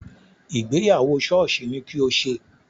Ìgbéyàwó sọ́ọ̀sì ni kí o ṣe!